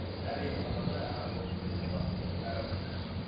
әр емханада әр амбулаторияда бар әр ауруханада